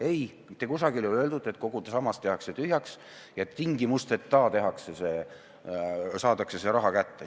Ei, mitte kusagil ei ole öeldud, et kogu sammas tehakse tühjaks ja tingimusteta saadakse see raha kätte.